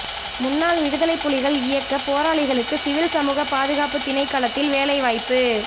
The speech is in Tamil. முன்னாள் விடுதலைப் புலிகள் இயக்கப் போராளிகளுக்கு சிவில் சமூக பாதுகாப்பு திணைக்களத்தில் வேலைவாய்ப்பு